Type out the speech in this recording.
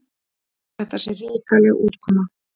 Þetta sé hrikaleg útkoma.